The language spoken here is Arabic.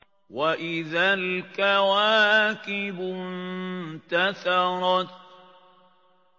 وَإِذَا الْكَوَاكِبُ انتَثَرَتْ